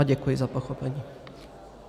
A děkuji za pochopení.